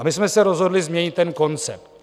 A my jsme se rozhodli změnit ten koncept.